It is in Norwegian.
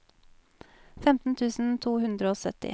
femten tusen to hundre og sytti